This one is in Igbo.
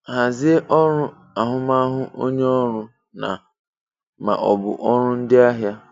Hàzie ọrụ ahụ́màhụ onye ọrụ na/ma ọ bụ ọrụ ndị ahịa.